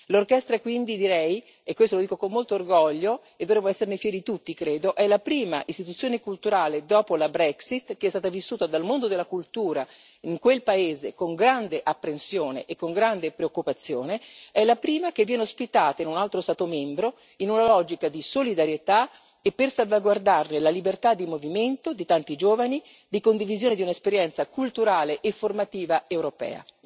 L'orchestra quindi, direi e questo lo dico con molto orgoglio, e dovremmo esserne fieri tutti, credo è la prima istituzione culturale dopo la Brexit che è stata vissuta dal mondo della cultura in quel paese con grande apprensione e con grande preoccupazione è la prima che viene ospitata in un altro Stato membro, in una logica di solidarietà e per salvaguardare la libertà di movimento di tanti giovani, di condivisione di un'esperienza culturale e formativa europea.